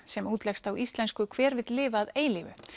sem útleggst á íslensku hver vill lifa að eilífu